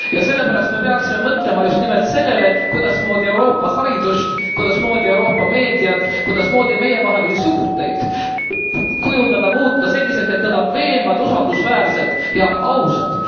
Ja sellepärast me peaksime mõtlema justnimelt sellele, kuidasmoodi Euroopa haridust, kuidasmoodi Euroopa meediat, kuidasmoodi meievahelisi suhteid kujundada, muuta selliseks, et nad on veenvad, usaldusväärsed ja ausad.